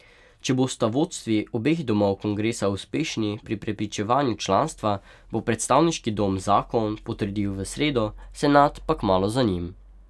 Če bosta vodstvi obeh domov kongresa uspešni pri prepričevanju članstva, bo predstavniški dom zakon potrdil v sredo, senat pa kmalu za njim.